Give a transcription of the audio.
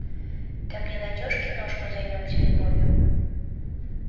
ты мне найдешь киношку займемся любовью